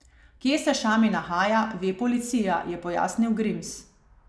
Kje se Šami nahaja, ve policija, je pojasnil Grims.